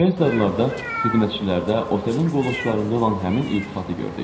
Şveytzarlarda, xidmətçilərdə, otelin qoluqçularında olan həmin iltifatı gördük.